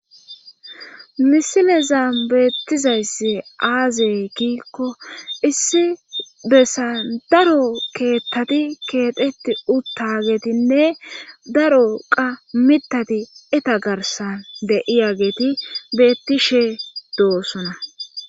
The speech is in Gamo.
Misileza beettizayssi aazey kiikko issi bessan daro keettati keexeti utta geetinne daro qa mitati eta garsan deiya geeti beettishe doosona